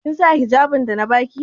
Kin sa hijjabin da na ba ki?